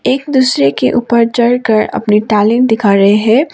एक दूसरे के ऊपर चढ़कर अपनी टैलेंट दिखा रहे हैं।